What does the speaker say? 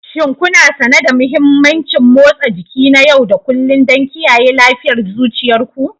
Shin kuna sane da mahimmancin motsa jiki na yau da kullun don kiyaye lafiyar zuciyar ku?